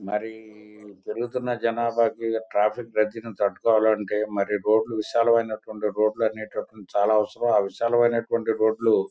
మరి పెరుగుతున్న జెనాబా కి ట్రాఫిక్ రద్దీని తట్టుకోవాలంటే రోడ్ లు విశాలమినటువంటివి. రోడ్ లు అనేటటువంటివి చాల అవసరం ఆ విశాలమైనటువంటి రోడ్ లు--